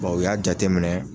u y'a jate minɛ.